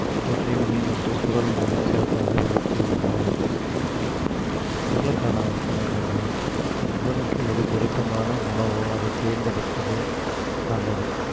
போற்றேன் உன்னை என்று குறள் மூலம் சிறப்பாக விளக்கியுள்ளார் குறளுக்கான அர்த்தம் என்னன்னா உடலுக்கு எது பொருத்தமான உணவோ அதை தேர்ந்தெடுப்பது நல்லது